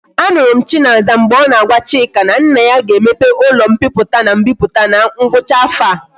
A nuru m chinaza mgbe o na agwa chika na nna ya ga emepe ulo mpiputa na mbiputa na ngwacha afo a